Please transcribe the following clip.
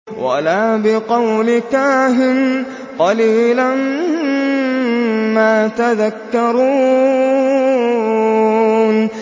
وَلَا بِقَوْلِ كَاهِنٍ ۚ قَلِيلًا مَّا تَذَكَّرُونَ